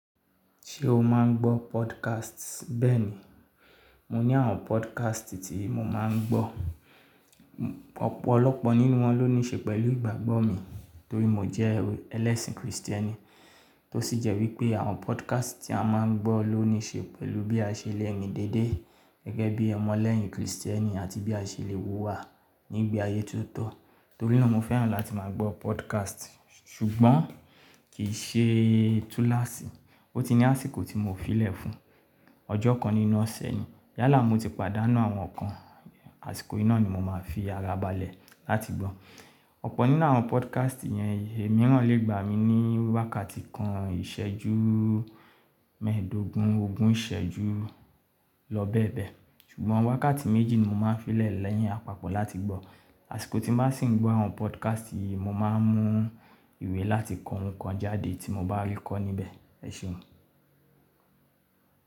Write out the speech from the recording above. Ṣé o máa ń gbọ́ podcast? Bẹ́ẹ̀ni, mo ní àwọn podcast tí mo máa ń gbọ́. Ọ̀pọ̀lọpọ̀ nínú wọn ló ní ṣe pẹ̀lú ìgbàgbọ́ mi torí mo jẹ́ ẹlẹ́sìn kìrìsìtẹ́nì. Tó sì jẹ́ wípé àwọn podcast tí a máa ń gbọ́ ló ní ṣe pẹ̀lú bí a ṣe lè ni dédé gẹ́gẹ́ bí ọmọ lẹ́yìn kìrìsìtẹ́nì àti bí a ṣe lè hùwà nígbà ayé tó tọ́. Torí náà mo fẹ́ràn láti máa gbọ́ podcast. Ṣùgbọ́n kì í ṣe túláṣí. Ó ti ní àsìkò tí mo fi lè fún un. Ọjọ́ kan nínú ọ̀sẹ̀ ni. Yálà mo ti pàdánù àwọn kan. Àsìkò yìí náà ni mo máa fi ara balẹ̀ láti gbọ́. Ọ̀pọ̀ nínú àwọn podcast yẹn, èyí mìíràn lè gbà mí ní wákàtí kan ìṣẹ́jú mẹ́ẹ̀ẹ́dógún, ogún ìṣẹ́jú lọ bẹ́ẹ̀ bẹ́ẹ̀. Ṣùgbọ́n wákàtí méjì ni mo máa ń fi lè lẹ́yìn àpapọ̀ láti gbọ́. Àsìkò tí mo bá sì ń gbọ́ àwọn podcast yìí, mo máa ń mú ìwé láti kọ ohunkan jáde tí mo bá rí kọ́ níbẹ̀. Ẹ ṣeun.